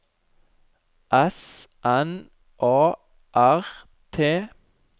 S N A R T